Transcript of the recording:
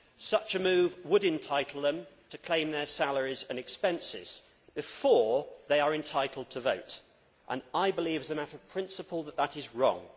Such a move would entitle them to claim their salaries and expenses before they are entitled to vote, and I believe, as a matter of principle, that that is wrong.